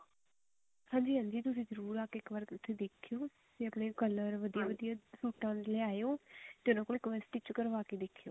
ਹਾਂਜੀ ਹਾਂਜੀ ਤੁਸੀਂ ਜਰੁਰ ਇੱਕ ਵਾਰੀ ਆ ਕ ਦੇਖਿਓ ਜਾਂ color ਅਓਨੇ ਵਧੀਆ ਵਧੀਆ ਸੂਟਾਂ ਦੇ ਲੇਆਓ ਤੇ ਉਹਨਾ ਕੋਲੋਂ ਇੱਕ ਵਾਰੀ stitch ਕਰਵਾ ਕੇ ਦੇਖਿਓ